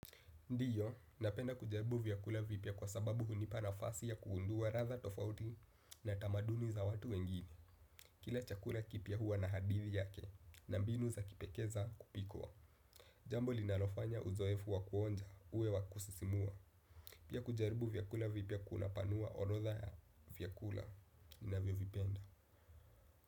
Ndio, napenda kujaribu vyakula vipya kwa sababu hunipa nafasi ya kugundua ladha tofauti na tamaduni za watu wengine. Kila chakula kipya huwa na hadithi yake na mbinu za kipekee za kupikwa. Jambo linalofanya uzoefu wa kuonja, uwe wa kusisimua. Pia kujaribu vyakula vipya kunapanua orodha ya vyakula ninavyovipenda.